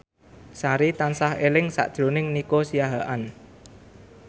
Sari tansah eling sakjroning Nico Siahaan